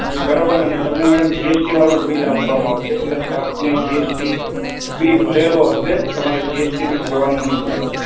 બરોબર? અને તમને GST વાળું જ bill આપવામાં આવશે. એટલે આપને GST બી ભરેલો હશે. તમારે GST બી ભરવાનું નહીં આવે.